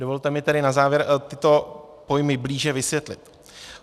Dovolte mi tedy na závěr tyto pojmy blíže vysvětlit.